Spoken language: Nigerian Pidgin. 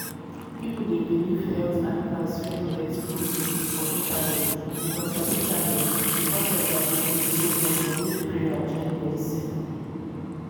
people dey believe health advice wey no get proof for internet because for internet because of their belief so dem go nid prayer join medicine.